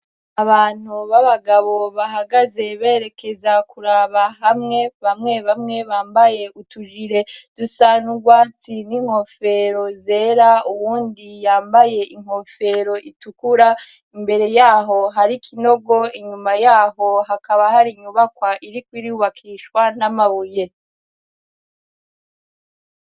Abantu b'abagabo bahagaze berekeza kuraba hamwe bamwe bamwe bambaye utujire dusana urwatsi n'inkofero zera uwundi yambaye inkofero itukura imbere yaho hariko inogo inyuma yaho hakaba hari inyubakwa iriko irubakishwana namabuye.